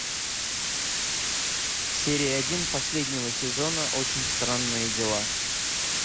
серия один последнего сезона очень странные дела